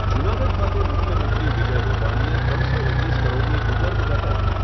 જુનાગઢ ખાતે મુખ્યમંત્રી વિજય રૂપાણીએ ત્રણસો ઓગણીસ કરોડની ભૂગર્ભ ગટર